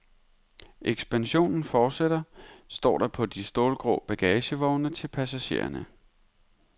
Ekspansionen fortsætter, står der på de stålgrå bagagevogne til passagererne.